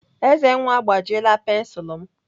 Ezenwa agbajiela pensilu m.